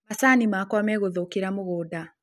Macani makwa megũthũkĩra mũgũnda